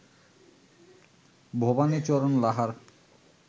Bhabanicharan Lahar